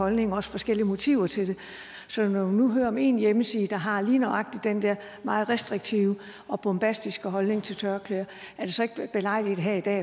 holdninger og også forskellige motiver til det så når vi nu hører om en hjemmeside der har lige nøjagtig den der meget restriktive og bombastiske holdning til tørklæder er det så ikke belejligt her i dag